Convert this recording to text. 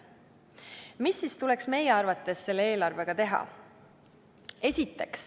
Mis siis tuleks meie arvates selle eelarvega teha?